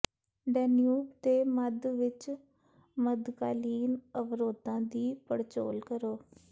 Danube ਦੇ ਮੱਧ ਵਿੱਚ ਮੱਧਕਾਲੀਨ ਅਵਰੋਧਾਂ ਦੀ ਪੜਚੋਲ ਕਰੋ